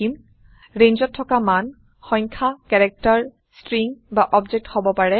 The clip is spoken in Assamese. ৰেঞ্জত থকা মান সংখ্যা কেৰেক্টাৰ চ্ট্ৰীং বা অব্জেক্ট হব পাৰে